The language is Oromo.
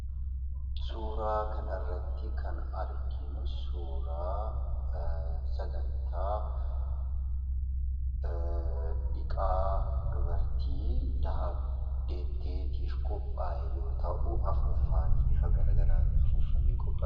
Suuraa kanarratti kan arginu suuraa sagantaa dhiqaa dubartii deetteetiif qophaa'e yoo ta'u, afuuffaan bifa garagaraan afuuffamee qophaa'e.